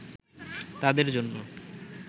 তাদের জন্য